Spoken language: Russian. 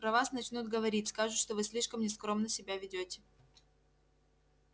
про вас начнут говорить скажут что вы слишком нескромно себя ведёте